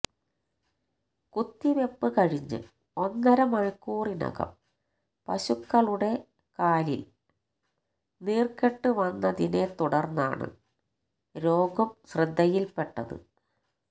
കുത്തിവെപ്പ് കഴിഞ്ഞ് ഒന്നര മണിക്കൂറിനകം പശുക്കളുടെ കാലില് നീര്ക്കെട്ട് വന്നതിനെ തുടര്ന്നാണ് രോഗം ശ്രദ്ധയില്പെട്ടത്